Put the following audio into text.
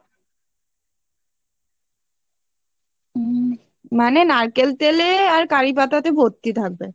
উম মানে নারকেল তেল এ আর কারিপাতাতে ভর্তি থাকবে